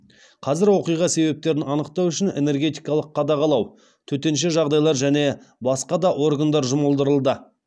қазір оқиға себептерін анықтау үшін энергетикалық қадағалау төтенше жағдайлар және басқа да органдар жұмылдырылды